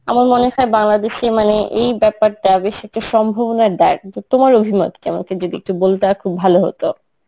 আমার মনে হয় বাংলাদেশে মানে এই ব্যাপারটা বেশ একটা সম্ভবনা দায়, কিন্তু তোমার অভিমত কেমন আমাকে যদি একটু বলতা খুব ভালো হতো.